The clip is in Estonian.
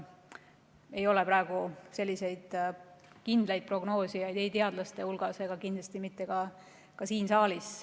Ei ole praegu selliseid kindlaid prognoosijaid ei teadlaste hulgas ega kindlasti mitte ka siin saalis.